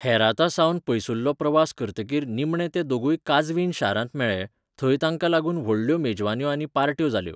हेरातासावन पयसुल्लो प्रवास करतकीर निमणे ते दोगूय काझवीन शारांत मेळ्ळे, थंय तांकां लागून व्हडल्यो मेजवान्यो आनी पार्ट्यो जाल्यो.